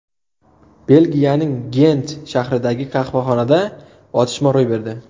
Belgiyaning Gent shahridagi qahvaxonada otishma ro‘y berdi.